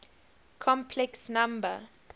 complex number